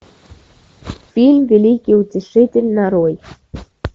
фильм великий утешитель нарой